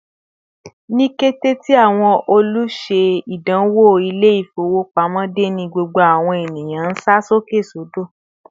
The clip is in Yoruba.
Ni kété tí àwọn oluse-idanwo Ilé-ifowopamo de, ní gbogbo àwọn ènìyàn nsa sókè sodo